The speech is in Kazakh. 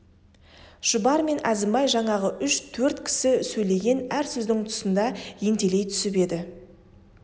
шұбар мен әзімбай жаңағы үш-төрт кісі сөйлеген әр сөздің тұсында ентелей түсіп еді